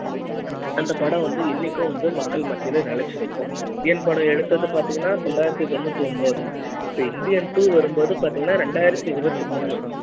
அந்த படம் வந்து இன்னிக்கு வந்து மக்கள் மத்தியில நிலைச்சு நி க்கும் இந்தியன் படம் எடுத்தது பாத்திங்கன்னா தொள்ளாயிரத்துத் தொண்ணூற்றொன்பது இந்தியன் two வரும் போது பாத்திங்கன்னா ரெண்டாயிரத்தி இருபத்தி மூணு